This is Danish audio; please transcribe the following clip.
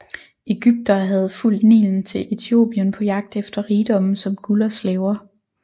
Egyptere havde fulgt Nilen til Etiopien på jagt efter rigdomme som guld og slaver